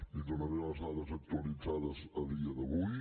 li donaré les dades actualitzades a dia d’avui